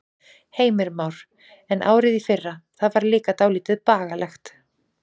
Heimir Már: En árið í fyrra, það var líka dálítið bagalegt?